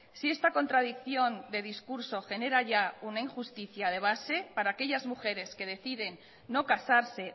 si esta contradicción de discurso genera ya una injusticia de base para aquellas mujeres que deciden no casarse